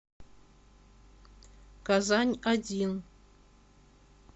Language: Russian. казань один